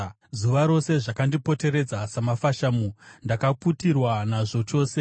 Zuva rose zvakandipoteredza samafashamu; ndakaputirwa nazvo chose.